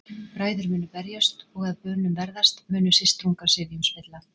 Bræður munu berjast og að bönum verðast, munu systrungar sifjum spilla.